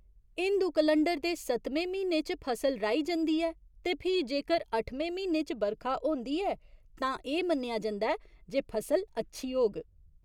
Hindu calendar दे सत्तमें म्हीने च फसल राही जंदी ऐ ते फ्ही जेकर अठमें म्हीने च बरखा होंदी ऐ तां एह् मन्नेआ जंदा ऐ जे फसल अच्छी होग।